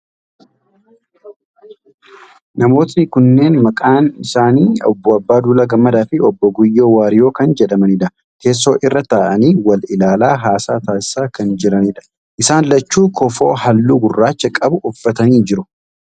Namootni kunneen maqaan isaanii obbo Abbaaduulaa Gammadaa fi obbo Guyyoo Waariyyoo kan jedhamaniidha. Teessoo irra taa'anii wal ilaalaa haasaa taasisaa kan jiraniidha. Isaan lachuu kofoo haalluu gurraacha qabu uffatanii jiru.